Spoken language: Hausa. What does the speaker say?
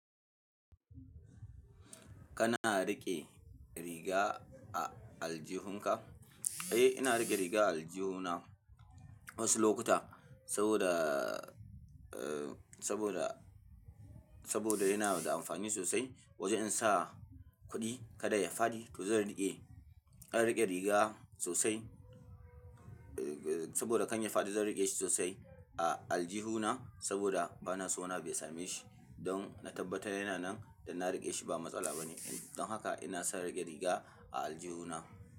Kana riƙe riga a aljihun ka? Eh, ina riƙe riga a aljihu na wasu lokuta saboda, eh, saboda, saboda yana da amfani sosai. Wajen sa kuɗi kada ya faɗi to zan riƙe. Zan riƙe riga sosai, eh, saboda kan ya faɗi zan riƙe shi sosai a aljihu na saboda bana so wani abu ya same shi. Don na tabbatar yana nan don na riƙe shi ba matsala bane. Don haka ina sa riƙe riga a aljihu na.